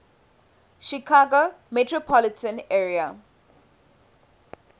chicago metropolitan area